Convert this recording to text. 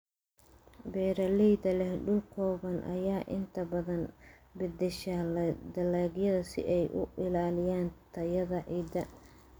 Beeraleyda leh dhul kooban ayaa inta badan beddesha dalagyada si ay u ilaaliyaan tayada ciidda.